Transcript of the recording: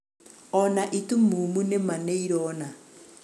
ona itumumu nĩma nĩirona